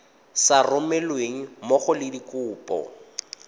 sa romelweng mmogo le dikopo